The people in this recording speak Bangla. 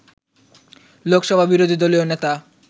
লোকসভার বিরোধী দলীয় নেতা